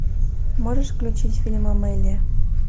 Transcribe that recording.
можешь включить фильм амелия